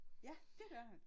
Ja det gør han